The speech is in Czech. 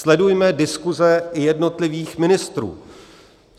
Sledujme diskuse jednotlivých ministrů.